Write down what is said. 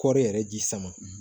Kɔɔri yɛrɛ ji sama